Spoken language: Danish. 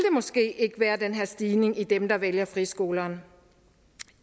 måske ikke være den her stigning i dem der vælger friskolerne